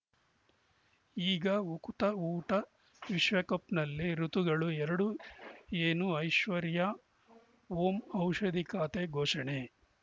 ಈಗ ಉಕುತ ಊಟ ವಿಶ್ವಕಪ್‌ನಲ್ಲಿ ಋತುಗಳು ಎರಡು ಏನು ಐಶ್ವರ್ಯಾ ಓಂ ಔಷಧಿ ಖಾತೆ ಘೋಷಣೆ